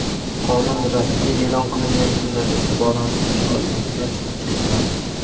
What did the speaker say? Qonun rasmiy eʼlon qilingan kundan eʼtiboran uch oy o‘tgach kuchga kiradi.